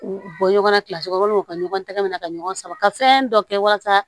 U bɔ ɲɔgɔn na kilasi kɔnɔ walima u ka ɲɔgɔn tɛgɛ minɛ ka ɲɔgɔn sama ka fɛn dɔ kɛ walasa